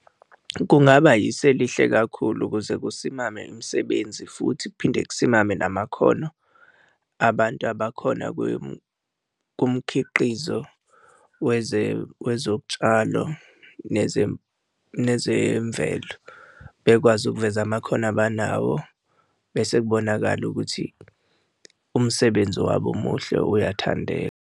Kungaba isu elihle kakhulu ukuze kusimame imisebenzi, futhi kuphinde kusimame namakhono abantu abakhona kumkhiqizo wezotshalo nezemvelo. Bekwazi ukuveza amakhono abanawo, bese kubonakale ukuthi umsebenzi wabo omuhle iyathandeka.